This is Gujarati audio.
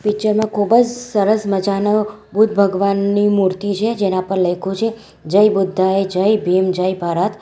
પિક્ચર માં ખૂબ જ સરસ મજાનો બુદ્ધ ભગવાનની મૂર્તિ છે જેના પર લયખુ છે જય બુદ્ધાય જય ભીમ જય ભારત.